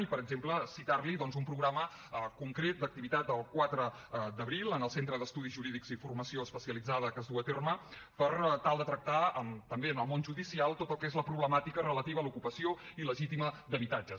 i per exemple citar li doncs un programa concret d’activitat el quatre d’abril en el centre d’estudis jurídics i formació especialitzada que es duu a terme per tal de tractar també en el món judicial tot el que és la problemàtica relativa a l’ocupació il·legítima d’habitatges